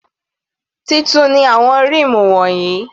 Titun ni àwọn ríìmù wọ̀nyí.